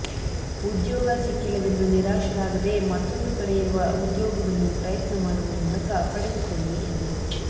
ಉದ್ಯೋಗ ಸಿಕ್ಕಿಲ್ಲವೆಂದು ನಿರಾಶರಾಗದೇ ಮತ್ತೊಂದು ಕಡೆ ಇರುವ ಉದ್ಯೋಗವನ್ನು ಪ್ರಯತ್ನ ಮಾಡುವ ಮೂಲಕ ಪಡೆದುಕೊಳ್ಳಿ ಎಂದರು